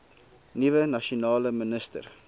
nuwe nasionale minister